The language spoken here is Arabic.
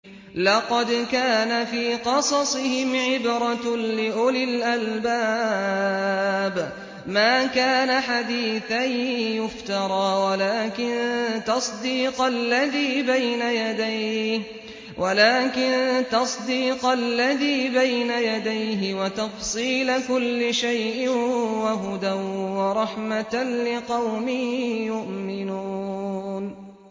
لَقَدْ كَانَ فِي قَصَصِهِمْ عِبْرَةٌ لِّأُولِي الْأَلْبَابِ ۗ مَا كَانَ حَدِيثًا يُفْتَرَىٰ وَلَٰكِن تَصْدِيقَ الَّذِي بَيْنَ يَدَيْهِ وَتَفْصِيلَ كُلِّ شَيْءٍ وَهُدًى وَرَحْمَةً لِّقَوْمٍ يُؤْمِنُونَ